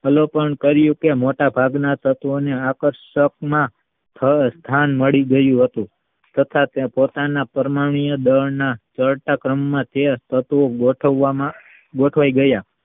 અલોકન કર્યું કે મોટા ભાગના તત્વને ધ્યાન મળી ગયું હતું તથા પણ પોતાના પરમાણ્વીય દળના ચડતા ક્રમમાં તે તત્વ ગોઠવામાં ગોથવાય ગયા